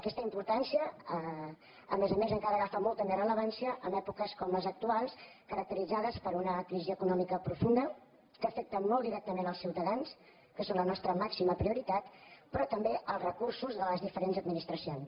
aquesta importància a més a més encara agafa molta més rellevància en èpoques com les actuals caracteritzades per una crisi econò·mica profunda que afecta molt directament els ciuta·dans que són la nostra màxima prioritat però també els recursos de les diferents administracions